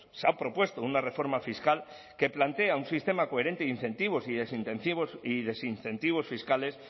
se ha propuesto una reforma fiscal que plantea un sistema coherente de incentivos y desincentivos fiscales